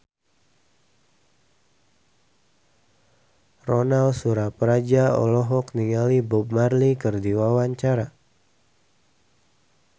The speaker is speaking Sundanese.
Ronal Surapradja olohok ningali Bob Marley keur diwawancara